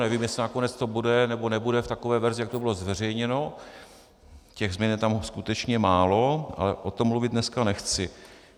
Nevím, jestli nakonec to bude nebo nebude v takové verzi, jak to bylo zveřejněno, těch změn je tam skutečně málo, ale o tom mluvit dneska nechci.